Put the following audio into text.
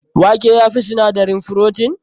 Wake ya fi sinadarin frotin?